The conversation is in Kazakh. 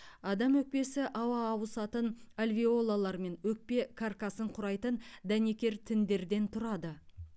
адам өкпесі ауа ауысатын альвеолалар мен өкпе каркасын құрайтын дәнекер тіндерден тұрады